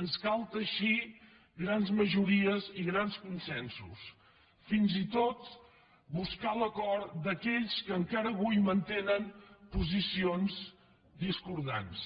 ens cal teixir grans majories i grans consensos fins i tot buscar l’acord d’aquells que encara avui mantenen posicions discordants